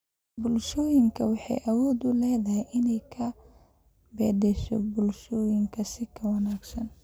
Waxbarashadu waxay awood u leedahay inay wax ka beddesho bulshooyinka si ka wanaagsan.